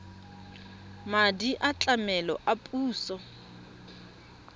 madi a tlamelo a puso